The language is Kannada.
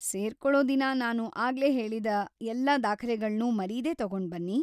ಸೇರ್ಕೊಳೋ ದಿನ ನಾನು ಆಗ್ಲೇ ಹೇಳಿದ ಎಲ್ಲಾ ದಾಖಲೆಗಳ್ನೂ ಮರೀದೇ ತಗೊಂಡ್ಬನ್ನಿ.